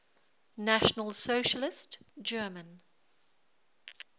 national socialist german